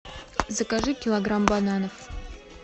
закажи килограмм бананов